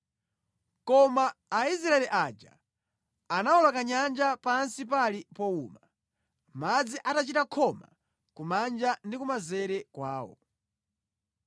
Koma Aisraeli aja anawoloka nyanja pansi pali powuma, madzi atachita khoma kumanja ndi kumanzere kwawo.